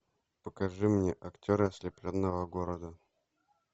покажи мне актеры ослепленного города